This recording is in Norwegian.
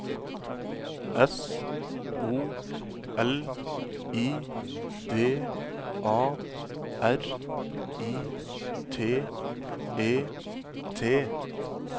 S O L I D A R I T E T